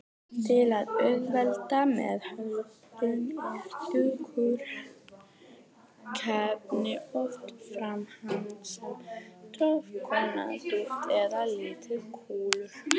Til að auðvelda meðhöndlun eru þurrkefnin oft framleidd sem grófkorna duft eða litlar kúlur.